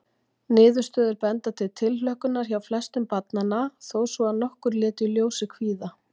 Niðurstöður benda til tilhlökkunar hjá flestum barnanna, þó svo að nokkur létu í ljósi kvíða.